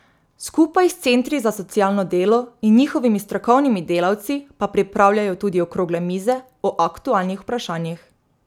Skupaj s centri za socialno delo in njihovimi strokovnimi delavci pa pripravljajo tudi okrogle mize o aktualnih vprašanjih.